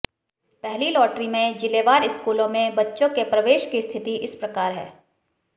पहली लॉटरी में जिलेवार स्कूलों में बच्चों के प्रवेश की स्थिति इस प्रकार है